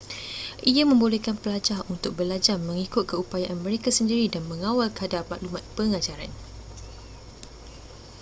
ia membolehkan pelajar untuk belajar mengikut keupayaan mereka sendiri dan mengawal kadar maklumat pengajaran